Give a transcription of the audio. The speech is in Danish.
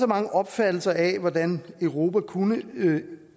mange opfattelser af hvordan europa kunne